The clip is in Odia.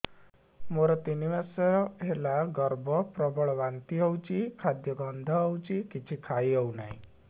ମୋର ତିନି ମାସ ହେଲା ଗର୍ଭ ପ୍ରବଳ ବାନ୍ତି ହଉଚି ଖାଦ୍ୟ ଗନ୍ଧ ହଉଚି କିଛି ଖାଇ ହଉନାହିଁ